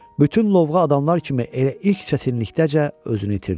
Bütün lovğa adamlar kimi elə ilk çətinlikdəcə özünü itirdi.